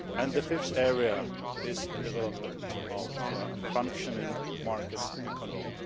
The fifth area is the development of a functioning market economy.